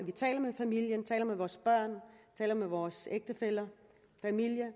taler med familien taler med vores børn taler med vores ægtefæller